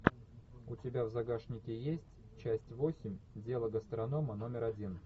у тебя в загашнике есть часть восемь дело гастронома номер один